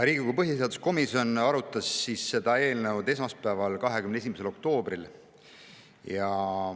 Riigikogu põhiseaduskomisjon arutas seda eelnõu esmaspäeval, 21. oktoobril.